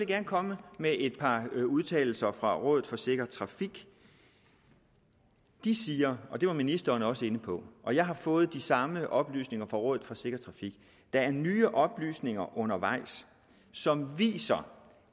gerne komme med et par udtalelser fra rådet for sikker trafik de siger det var ministeren også inde på og jeg har fået de samme oplysninger fra rådet for sikker trafik at der er nye oplysninger undervejs som viser